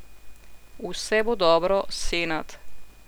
Vse bo dobro, Senad.